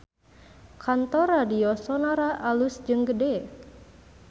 Kantor Radio Sonora alus jeung gede